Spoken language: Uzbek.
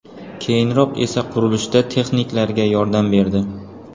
Keyinroq esa qurilishda texniklarga yordam berdi.